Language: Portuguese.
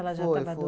Ela já estava